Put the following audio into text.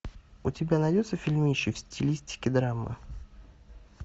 у тебя найдется фильмище в стилистике драма